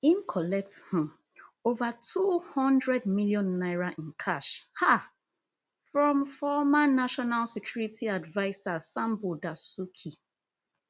im collect um ova two hundred million naira in cash um from former national security adviser sambo dasuki